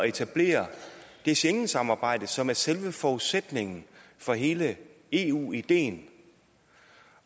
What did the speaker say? etablere det schengensamarbejde som er selve forudsætningen for hele eu ideen